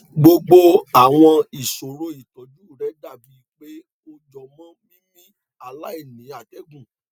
gbogbo àwọn ìṣòro ìtọjú rẹ dàbí pé ó jọmọ mímí aláìní atẹgùn